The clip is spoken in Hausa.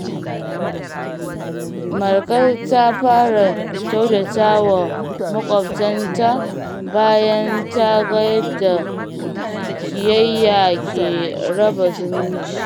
Marka ta fara kyautata wa makwabtanta bayan ta ga yadda ƙiyayya ke raba zumunci.